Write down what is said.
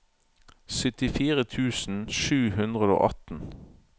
syttifire tusen sju hundre og atten